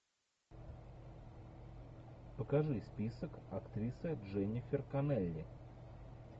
покажи список актрисы дженнифер коннелли